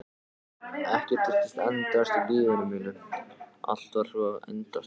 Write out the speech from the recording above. Ekkert virtist endast í lífi mínu, allt var svo endasleppt.